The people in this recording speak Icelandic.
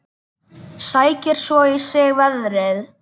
Sækir svo í sig veðrið.